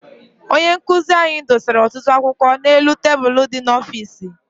Onye nkụzi anyị dosara ọtụtụ akwụkwọ n'elu tebulu dị n'ọfịịsi.